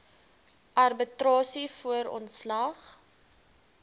arbitrasie voor ontslag